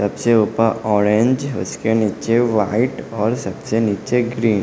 सबसे ऊपा ऑरेंज उसके नीचे वाइट और सबसे नीचे ग्रीन --